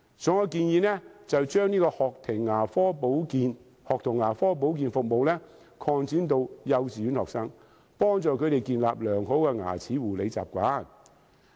所以，我建議將學童牙科保健服務擴展至幼稚園學生，幫助他們建立良好的牙齒護理習慣。